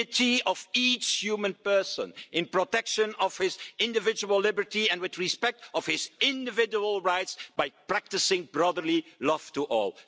dignity of each human person in protection of his individual liberty and with respect for his individual rights by practicing brotherly love to all'.